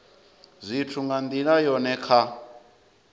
zwithu nga ndila yone kha